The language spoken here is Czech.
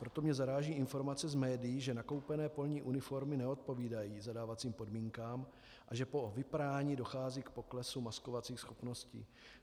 Proto mě zaráží informace z médií, že nakoupené polní uniformy neodpovídají zadávacím podmínkám a že po vyprání dochází k poklesu maskovacích schopností.